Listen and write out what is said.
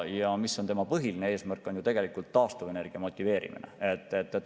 Ja põhiline eesmärk on ju tegelikult taastuvenergia motiveerimine.